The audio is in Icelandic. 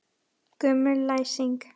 Gömul læsing.